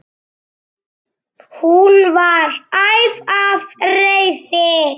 Hún var æf af reiði.